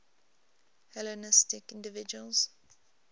hellenistic individuals